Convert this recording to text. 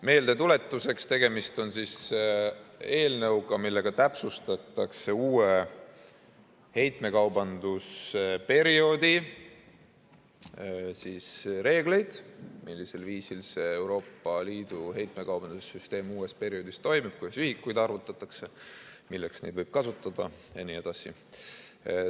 Meeldetuletuseks: tegemist on eelnõuga, millega täpsustatakse uue heitmekaubandusperioodi reegleid, millisel viisil see Euroopa Liidu heitmekaubanduse süsteem uuel perioodil toimib, kuidas ühikuid arvutatakse, milleks neid võib kasutada jne.